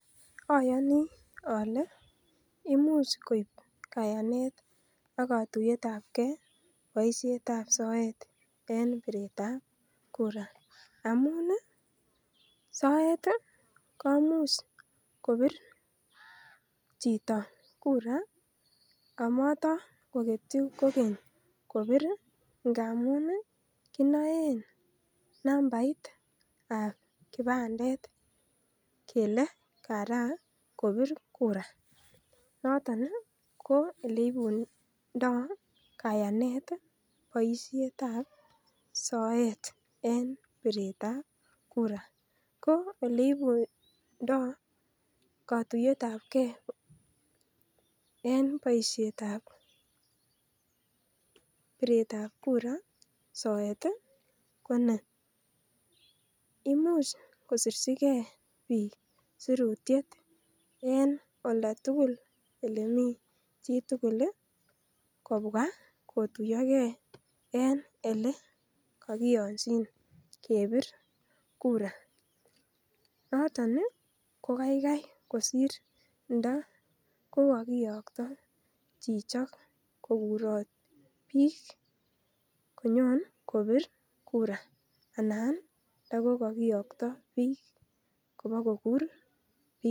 Ayani ale imuch koib katuyet biretab kura amuun ih soet ih komuch kobir chito kura ak mara koketie kobir ih ingamuun ih kinaen nambaitab kibandet kele Kara kobir kura. Noton ih ko eleibunto kayanet ih baisietab soet en biretab kura . Ko oleibundo katuyetabke en boisiet tab biretab kura soet Koni imuch kosirchige bik sirutiet en oldatuggl en olemi chitugul ih kubwakotuyage en elekakiyanchinkebir kura noton ih ko kaikai kosr ndo kukogoyokta chichok kokurat bik konyon kobir kura